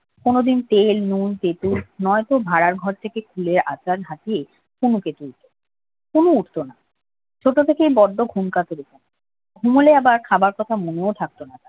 কোনদিন তেল নুন তেতুল নয়তো ভাড়ার ঘর থেকে কুলের আচার পুনুকে দিয়ে দিত পুনু উঠতো না ছোট থেকে বড্ড ঘুম কাতুরে ঘুমোলে আবার খাবার কথা মনেও থাকত না